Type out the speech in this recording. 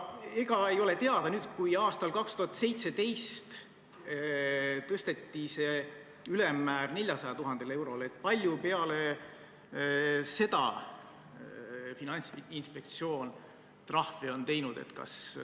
Ega ei ole teada, kui aastal 2017 tõsteti see ülemmäär 400 000 eurole, siis kui palju peale seda Finantsinspektsioon trahve on teinud?